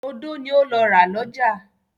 Odó ni ó lọ ra lọ́jà.